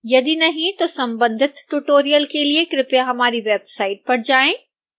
यदि नहीं तो संबंधित ट्यूटोरियल के लिए कृपया हमारी वेबसाइट पर जाएं